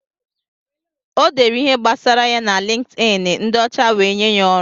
O dere ihe gbasara ya na LinkedIn, ndị ọcha wee nye ya ọrụ.